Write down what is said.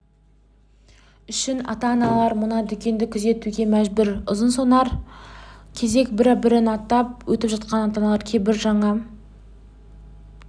үшін ата-аналар мына дүкенді күзетуге мәжбүр ұзынсонар кезек бір-бірін аттап өтіп жатқан ата-аналар кейбірі жаңа